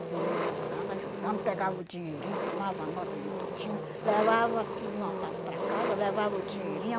E eu ajudando, ajudando, pegava o dinheirinho, tomava nota de tudinho, levava tudo anotado para casa, levava o dinheirinho.